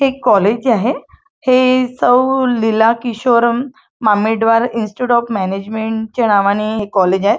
हे एक कॉलेज आहे हे सो Leela Kishore Mamedwar institute of management च्या नावाने हे कॉलेज आहे.